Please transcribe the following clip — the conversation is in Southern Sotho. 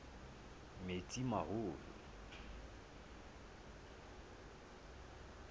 metsimaholo